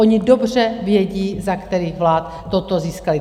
Oni dobře vědí, za kterých vlád toto získali.